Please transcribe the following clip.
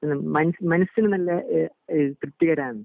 ഇഹ് മനസിന് നല്ല ഇഹ് ഇഹ് തൃപ്തികരമാണ്